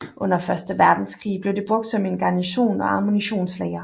Under første verdenskrig blev det brugt som en garnison og ammunitionslager